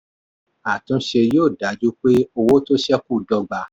àtúnṣe yóò dájú pé owó tó ṣẹ́kù dọ́gba